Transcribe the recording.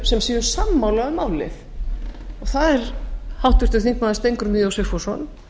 sem séu sammála um málið það er háttvirtur þingmaður steingrímur j sigfússon